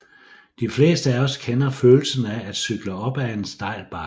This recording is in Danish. De fleste af os kender følelsen af at cykle op ad en stejl bakke